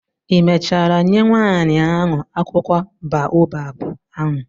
ị mechara nye nwaanyị ahụ akwụkwọ baobab ahụ?